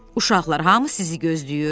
Uşaqlar, hamı sizi gözləyir.